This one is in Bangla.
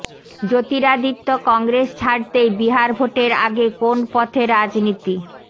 জ্যোতিরাদিত্য় কংগ্রেস ছাড়তেই বিহার ভোটের আগে কোন পথে রাজনীতি